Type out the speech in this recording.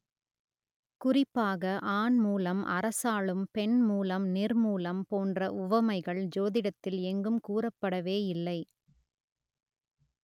குறிப்பாக ஆண் மூலம் அரசாளும் பெண் மூலம் நிர்மூலம் போன்ற உவமைகள் ஜோதிடத்தில் எங்கும் கூறப்படவே இல்லை